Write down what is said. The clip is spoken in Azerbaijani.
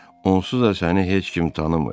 Onsuz da səni heç kim tanımır.